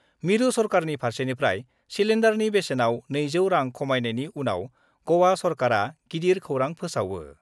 मिरु सरकारनि फारसेनिफ्राय सिलेन्डारनि बेसेनाव 200 रां खमायनायनि उनाव गवा सरकारा गिदिर खौरां फोसावयो।